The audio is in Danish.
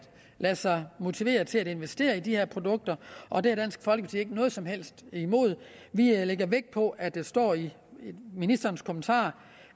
lade sig motivere til at investere i de her produkter og det har dansk folkeparti ikke noget som helst imod vi lægger vægt på at det står i ministerens kommentarer